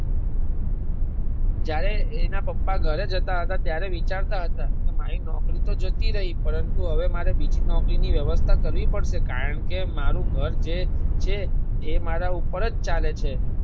જયારે એના પપ્પા ધરે જતા હતા ત્યારે વિચરતા હતા મારી નોકરી તો જતી રહી પરંતુ મારે હેવે બીજી નોકરી ની વ્યવસ્થા કરવી પડશે કારણકે મારુ ધાર જે છે એ મારા ઉપર જ ચાલે છે.